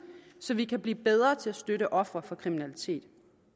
så vi kan blive bedre til at støtte ofre for kriminalitet